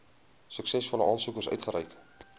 suksesvolle aansoekers uitgereik